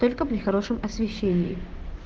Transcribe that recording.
только при хорошем освещении